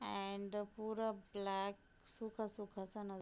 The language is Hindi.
एंड पुरा ब्लैक सूखा-सूखा सा नज --